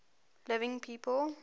living people